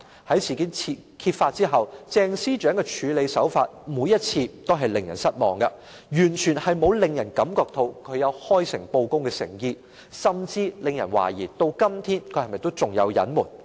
在事件揭發後，鄭司長的處理手法每次均令人失望，完全沒有令人感到她有開誠布公的誠意，甚至令人懷疑她至今仍有所隱瞞。